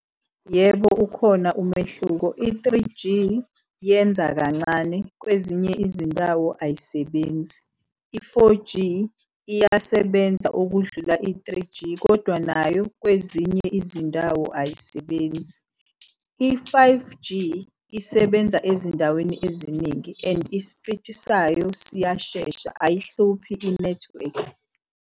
Yebo, ukhona umehluko. I-three G yenza kancane kwezinye izindawo ayisebenzi, i-four G iyasebenza okudlula i-three G kodwa nayo kwezinye izindawo ayisebenzi. I-five G isebenza ezindaweni eziningi and ispiti sayo siyashesha ayihluphi inethiwekhi.